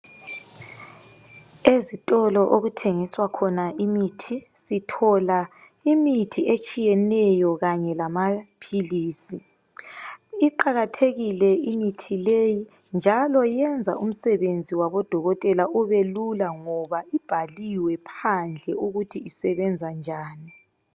Ezitolo okuthengiswa khona imithi sithola imithi etshiyeneyo kanye lamaphilisi, iqakathekile imithi le njalo iyenza umsebenzi wabodokotela ubelula ngoba ibhaliwe phandle ukuthi isebenza njani.